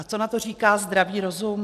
A co na to říká zdravý rozum?